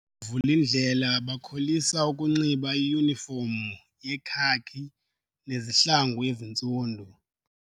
Oovulindlela bakholisa ukunxiba iyunifomu yekhaki nezihlangu ezintsundu.